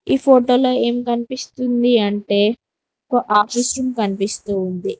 ఈ ఫోటోలో ఏం కనిపిస్తుంది అంటే ఒక ఆఫీస్ రూమ్ కనిపిస్తూ ఉంది.